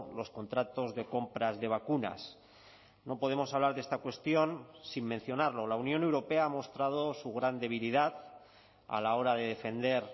los contratos de compras de vacunas no podemos hablar de esta cuestión sin mencionarlo la unión europea ha mostrado su gran debilidad a la hora de defender